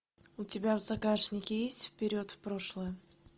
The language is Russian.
у тебя в загашнике есть вперед в прошлое